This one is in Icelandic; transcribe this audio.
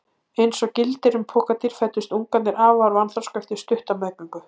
Eins og gildir um pokadýr fæddust ungarnir afar vanþroska eftir stutta meðgöngu.